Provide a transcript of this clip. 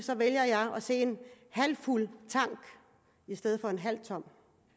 vælger jeg at se en halvfuld tank i stedet for en halvtom